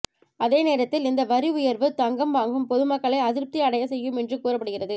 அதே நேரத்தில் இந்த வரி உயர்வு தங்கம் வாங்கும் பொதுமக்களை அதிருப்தி அடைய செய்யும் என்று கூறப்படுகிறது